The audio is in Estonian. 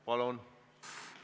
Palun!